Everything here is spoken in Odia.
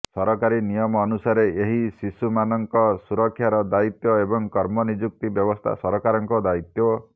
ସରକାରି ନିୟମ ଅନୁସାରେ ଏହି ଶିଶୁ ମାନଙ୍କ ସୁରକ୍ଷାର ଦାୟିତ୍ୱ ଏବଂ କର୍ମନିଯୁକ୍ତି ବ୍ୟବସ୍ଥା ସରକାର ଙ୍କ ଦାୟିତ୍ୱ